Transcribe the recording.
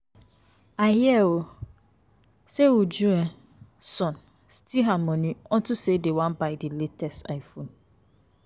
I hear um say Uju um son steal her money unto say dem wan buy the latest iPhone